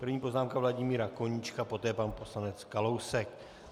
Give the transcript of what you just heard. První poznámka Vladimíra Koníčka, poté pan poslanec Kalousek.